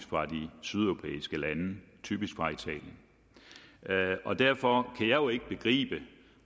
fra de sydeuropæiske lande typisk fra italien derfor kan jeg jo ikke begribe